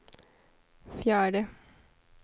fjärde